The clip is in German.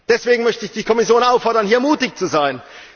Deswegen möchte ich die Kommission auffordern, hier mutig zu sein.